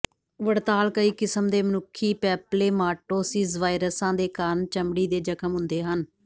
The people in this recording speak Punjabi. ਵੜਤਾਲ ਕਈ ਕਿਸਮ ਦੇ ਮਨੁੱਖੀ ਪੈਪਲੇਮਾਟੋਸਿਜ਼ ਵਾਇਰਸਾਂ ਦੇ ਕਾਰਨ ਚਮੜੀ ਦੇ ਜਖਮ ਹੁੰਦੇ ਹਨ